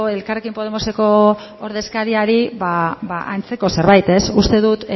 elkarrekin podemoseko ordezkariari antzeko zerbait uste dut